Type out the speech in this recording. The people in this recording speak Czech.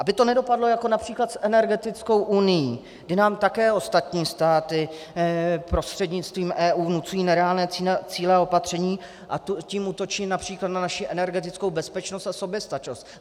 Aby to nedopadlo jako například s energetickou unií, kdy nám také ostatní státy prostřednictvím EU vnucují nereálné cíle a opatření, a tím útočí například na naši energetickou bezpečnost a soběstačnost.